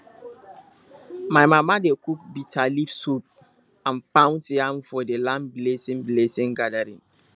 my mama dey cook bitterleaf soup and pound yam for the land blessing blessing gathering